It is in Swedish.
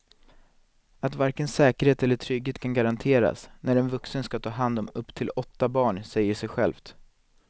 Att varken säkerhet eller trygghet kan garanteras när en vuxen ska ta hand om upp till åtta barn säger sig självt.